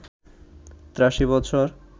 ৮৩ বছর